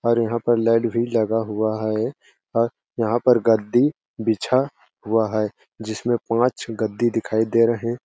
और यहाँ पे लाइट भी लगा हुआ है और यहाँ पर है गद्दी बिछा हुआ है जिसमें पांच गद्दी दिखाई दे रहे--